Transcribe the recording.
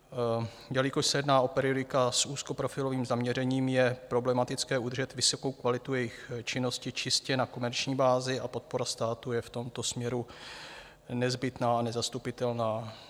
Jelikož se jedná o periodika s úzkoprofilovým zaměřením, je problematické udržet vysokou kvalitu jejich činnosti čistě na komerční bázi a podpora státu je v tomto směru nezbytná a nezastupitelná.